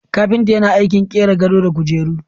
Kapinta yana aikin qira gado da kujeru.